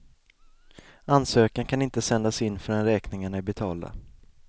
Ansökan kan inte sändas in förrän räkningarna är betalda.